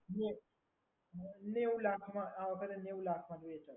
જે નેવ લાખમાં આ વખતે નેવ લાખમાં જોઈએ છે.